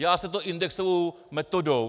Dělá se to indexovou metodou.